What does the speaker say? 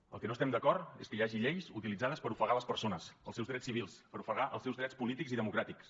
amb el que no estem d’acord és que hi hagi lleis utilitzades per ofegar les persones els seus drets civils per ofegar els seus drets polítics i democràtics